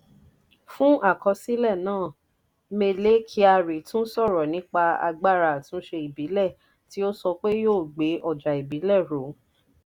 fún àkọsílẹ̀ náà: mele kyari tún sọ̀rọ̀ nípa agbára àtúnṣe ìbílẹ̀ tí ó sọ pé yóò gbé ọjà ìbílẹ̀ ró.